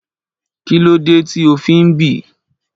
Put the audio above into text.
Kí ló dé tí ó fi ń bì?